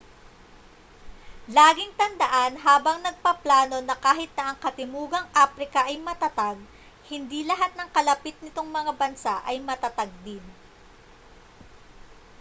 laging tandaan habang nagpaplano na kahit na ang katimugang aprika ay matatag hindi lahat ng kalapit nitong mga bansa ay matatag din